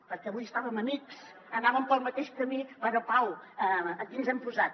perquè avui estàvem amics anàvem pel mateix camí però pau aquí ens hem posat